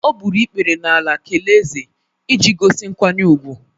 O gburu ikpere n’ala kelee Eze iji gosi nkwanye ùgwù.